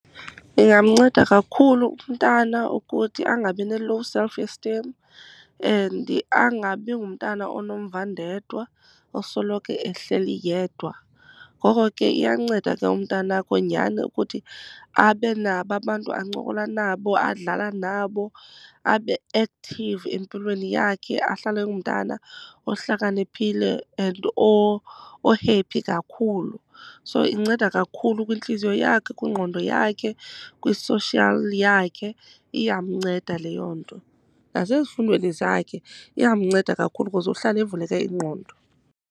Ndingamnceda kakhulu umntana ukuthi angabi ne-low self esteem and angabi ngumntana onomvandedwa osoloko ehleli yedwa. Ngoko ke iyanceda ke umntanakho nyhani ukuthi abe nabo abantu ancokola nabo, adlala nabo. Abe active empilweni yakhe, ahlale engumntana ohlakaniphile and o-happy kakhulu. So inceda kakhulu kwintliziyo yakhe, kwingqondo yakhe, kwi-social yakhe, iyamnceda leyo nto. Nasezifundweni zakhe iyamnceda kakhulu because uhlala evuleke ingqondo.